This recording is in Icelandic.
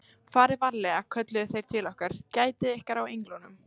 Farið varlega, kölluðu þeir til okkar, Gætið ykkar á englunum.